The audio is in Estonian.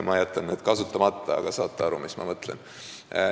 Mina jätan need kasutamata, aga saate küll aru, mis ma mõtlen.